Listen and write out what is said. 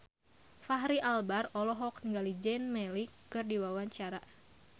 Fachri Albar olohok ningali Zayn Malik keur diwawancara